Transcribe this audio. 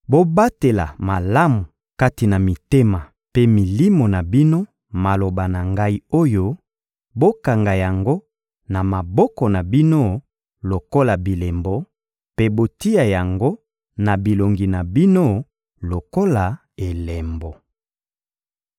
Bobatela malamu kati na mitema mpe milimo na bino maloba na ngai oyo, bokanga yango na maboko na bino lokola bilembo, mpe botia yango na bilongi na bino lokola elembo.